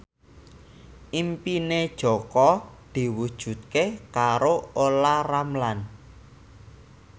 impine Jaka diwujudke karo Olla Ramlan